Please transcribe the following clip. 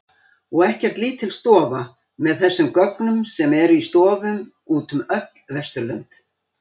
Og ekkert lítil stofa með þessum gögnum sem eru í stofum út um öll Vesturlönd.